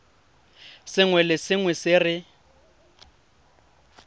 sengwe le sengwe se re